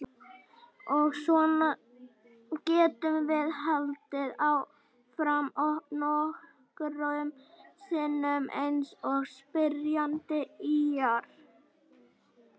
Og svona getum við haldið áfram nokkrum sinnum eins og spyrjandi ýjar að.